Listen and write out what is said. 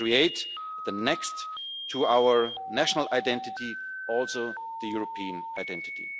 To create next to our national identity also the European identity.